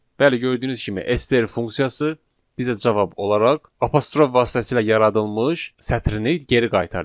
Bəli, gördüyünüz kimi, STR funksiyası bizə cavab olaraq apostrof vasitəsilə yaradılmış sətrini geri qaytardı.